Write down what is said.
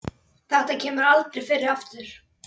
Þetta kemur aldrei fyrir aftur.